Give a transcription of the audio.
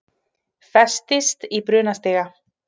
Festist í brunastiga